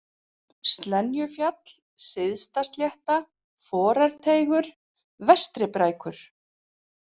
Slenjufjall, Syðstaslétta, Forarteigur, Vestri-Brækur